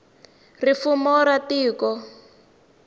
ri fumo ra tiko